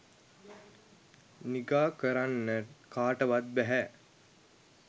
නිගා කරන්න කාටවත් බැහැ.